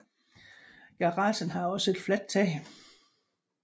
Garagen har også et fladt tag